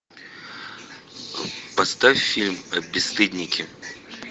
поставь фильм бесстыдники